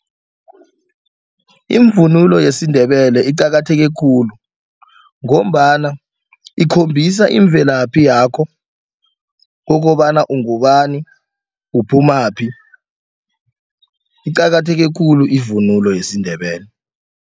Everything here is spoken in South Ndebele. Imvunulo yesiNdebele iqakatheke khulu ngombana ikhombisa imvelaphi yakho kokobana ungubani, uphumaphi iqakatheke khulu ivunulo yesiNdebele.